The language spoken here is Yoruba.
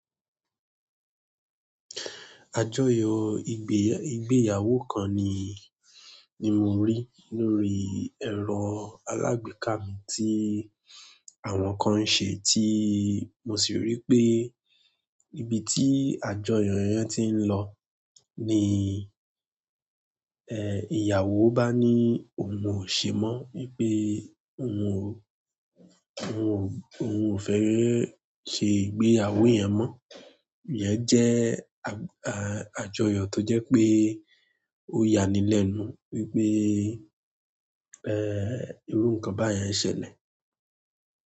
Àjọyọ̀ ìgbéyàwó kan ni, ni mo rí lórí ẹ̀rọ alágbèéká mi tí àwọn kan ń ṣe tí mo sì rí pé ibi tí àjọyọ̀ yẹn ti ń lọ ni, eh, ìyàwó bá ní òun ò ṣe mọ́ wípé òun ò, òun ò, òun ò fẹ́ ṣe ìgbéyàwó yẹn mọ́. Ìyẹn jẹ́ a-a-àjọyọ̀ tó jẹ́ pé ó ya ní lẹ́nu wípé, eh, irú ǹkan báyìí ń ṣẹlẹ̀.